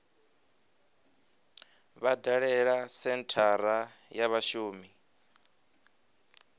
vha dalele senthara ya vhashumi